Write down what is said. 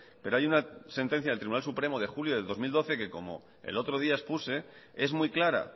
pero hay una sentencia del tribunal supremo de julio del dos mil doce que como el otro día expuse es muy clara